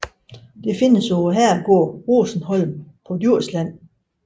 Det findes på herregården Rosenholm på Djursland